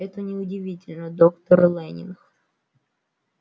это не удивительно доктор лэннинг